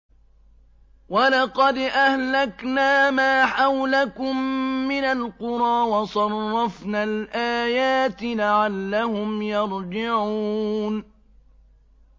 وَلَقَدْ أَهْلَكْنَا مَا حَوْلَكُم مِّنَ الْقُرَىٰ وَصَرَّفْنَا الْآيَاتِ لَعَلَّهُمْ يَرْجِعُونَ